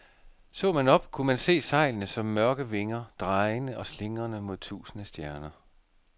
Så man op, kunne man se sejlene som mørke vinger, drejende og slingrende mod tusinde stjerner.